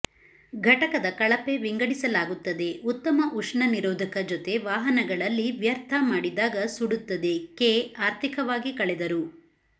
ಘಟಕದ ಕಳಪೆ ವಿಂಗಡಿಸಲಾಗುತ್ತದೆ ಉತ್ತಮ ಉಷ್ಣ ನಿರೋಧಕ ಜೊತೆ ವಾಹನಗಳಲ್ಲಿ ವ್ಯರ್ಥ ಮಾಡಿದಾಗ ಸುಡುತ್ತದೆ ಕೆ ಆರ್ಥಿಕವಾಗಿ ಕಳೆದರು